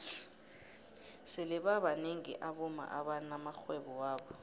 sele babnengi abomma abana maxhwebo wabo